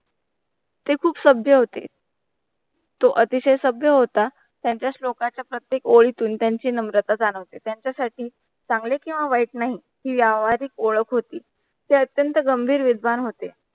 ते खूप सभ्य होते तो अतिशय सभ्य होता. त्यांचा श्लोकाचा प्रत्येक ओळीतुन त्यांची नम्रता जाणवते, त्यांच्यासाठी चांगले किंव्हा वाईट नाही ही व्यावहारिक ओळख होती ते अतंत्य गंभीर विद्वान होते.